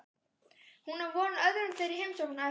Hún á von á öðrum þeirra í heimsókn á eftir.